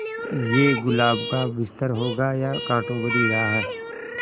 ये गुलाब का बिस्तर होगा या कांटों भरी राह